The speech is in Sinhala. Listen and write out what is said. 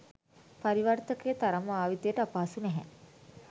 පරිවර්තකය තරම් භාවිතයට අපහසු නැහැ.